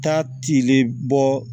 Taa tilen bɔ